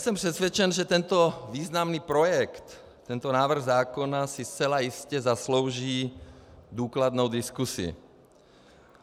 Jsem přesvědčen, že tento významný projekt, tento návrh zákona si zcela jistě zaslouží důkladnou diskusi.